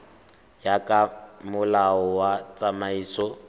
ya ka molao wa tsamaiso